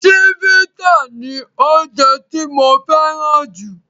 Chivita ni oje tí mo féràn ju